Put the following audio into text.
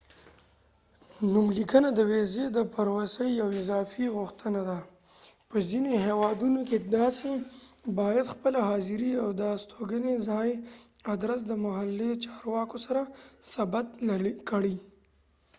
نوملیکنه د ويزی د پروسی یو اضافی غوښتنه ده په ځینی هیوادونو کې تاسی باید خپله حاضری او د استګنی ځّای ادرس د محلي چارواکو سره ثبت کړي